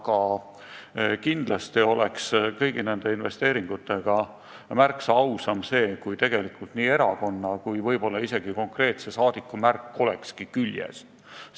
Aga kindlasti oleks kõigi nende investeeringute puhul märksa ausam, kui neil oleks erakonna ja võib-olla isegi konkreetse rahvasaadiku märk küljes.